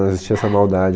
Não existia essa maldade.